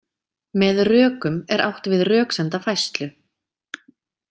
Með „rökum“ er átt við röksemdafærslu.